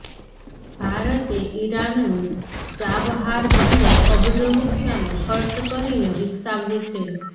ભારતે ઈરાનનું ચાબહાર બંદર અબજો રૂપિયાનો ખર્ચ કરીને વિકસાવ્યુ છે